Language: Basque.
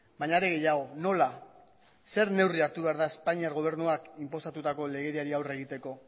baina ere gehiago nola zer neurri hartu behar da espainiar gobernuak inposatutako legediari aurre egiteko